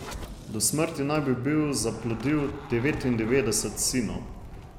Do smrti naj bi bil zaplodil devetindevetdeset sinov.